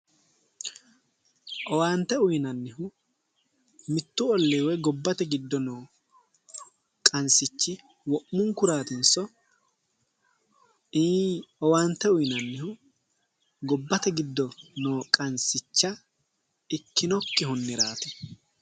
owaante uuyinanniha, mittu ollii woyi gobbate giddo qansichi wo'munkuraatinso? woyi gobbate giddo noo qansicha ikkinokkihurati?